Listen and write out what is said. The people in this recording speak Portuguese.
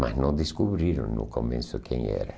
Mas não descobriram no começo quem era.